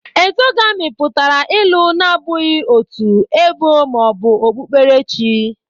exogami pụtara ịlụ na-abụghị otu, ebo, ma ọ bụ okpukperechi